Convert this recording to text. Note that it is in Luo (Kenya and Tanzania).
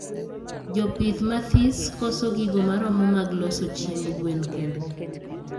Jopith mathis koso gigo maromo mag loso chiemb gen kendgi